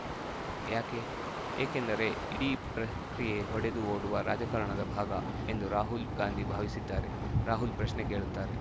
ಯಾಕೆ ಏಕೆಂದರೆ ಇಡೀ ಪ್ರಕ್ರಿಯೆ ಹೊಡೆದು ಓಡುವ ರಾಜಕಾರಣದ ಭಾಗ ಎಂದು ರಾಹುಲ್‌ ಗಾಂಧಿ ಭಾವಿಸಿದ್ದಾರೆ ರಾಹುಲ್‌ ಪ್ರಶ್ನೆ ಕೇಳುತ್ತಾರೆ